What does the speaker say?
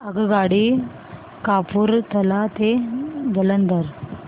आगगाडी कपूरथला ते जालंधर